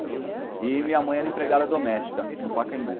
E minha mãe era empregada doméstica no Pacaembu.